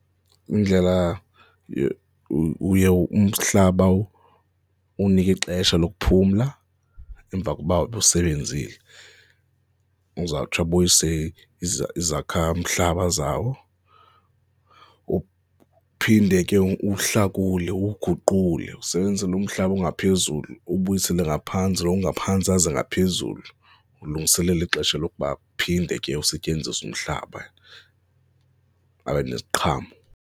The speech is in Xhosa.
Indlela uye umhlaba uwunike ixesha lokuphumla emva koba ubusebenzile. Uzawutsho abuyise izakha mhlaba zawo, uphinde ke uwuhlakule, uwuguqule, usebenzise lo mhlaba ongaphezulu ubuyisele ngaphantsi lo ongaphantsi aze ngaphezulu. Ulungiselela ixesha lokuba phinde ke usetyenziswa umhlaba abe neziqhamo.